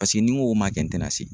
Paseke ni n ko ma kɛ n te na se